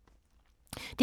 DR2